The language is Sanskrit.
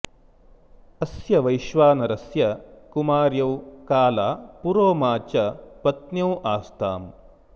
अस्य वैश्वानरस्य कुमर्यौ काला पुरोमा च पत्न्यौ आस्ताम्